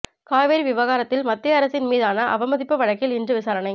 காவிரி விவகாரத்தில் மத்திய அரசின் மீதான அவமதிப்பு வழக்கில் இன்று விசாரணை